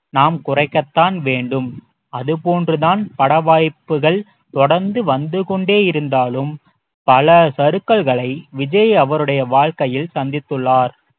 நாம் குறைக்கத்தான் வேண்டும் அதுபோன்று தான் படவாய்ப்புகள் தொடர்ந்து வந்துகொண்டே இருந்தாலும் பல சறுக்கல்களை விஜய் அவருடைய வாழ்க்கையில் சந்தித்துள்ளார்